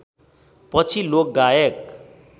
पछि लोकगायक